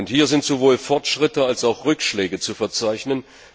Hier sind sowohl Fortschritte als auch Rückschläge zu verzeichnen.